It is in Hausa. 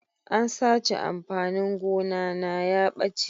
An sace amfanin gona na ya ɓace.